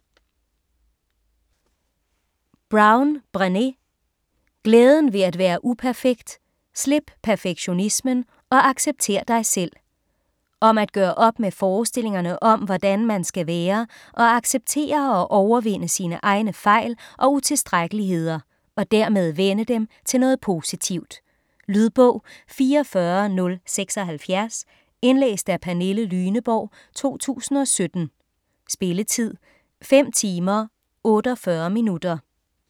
Brown, Brené: Glæden ved at være uperfekt: slip perfektionismen, og accepter dig selv Om at gøre op med forestillingerne om hvordan man skal være, og acceptere og overvinde sine egne fejl og utilstrækkeligheder, og dermed vende dem til noget positivt. Lydbog 44076 Indlæst af Pernille Lyneborg, 2017. Spilletid: 5 timer, 48 minutter.